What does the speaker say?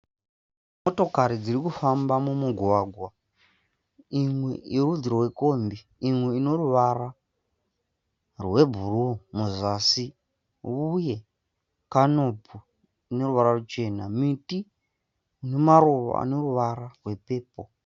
Motokari dziri kufamba mumugwagwa. Imwe yerudzi rwekombi imwe ine ruvara rwebhuruu muzasi uye kanopu ine ruvara ruchena. Miti ine maruva ane ruvara rwepepo.